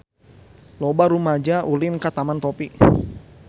Loba rumaja ulin ka Taman Topi